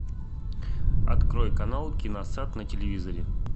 открой канал киносад на телевизоре